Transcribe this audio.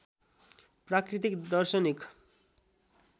प्राकृतिक दर्शनिक